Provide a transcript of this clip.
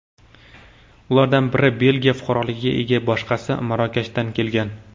Ulardan biri Belgiya fuqaroligiga ega, boshqasi Marokashdan kelgan.